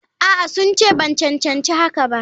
A'a, sun ce ban cancanci hakan ba.